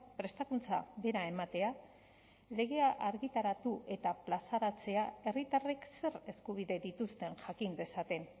prestakuntza bera ematea legea argitaratu eta plazaratzea herritarrek zer eskubide dituzten jakin dezaten